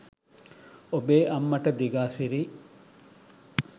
ඔබේ අම්මට දිගාසිරි